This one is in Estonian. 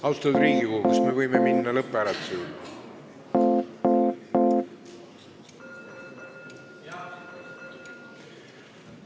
Austatud Riigikogu, kas me võime minna lõpphääletuse juurde?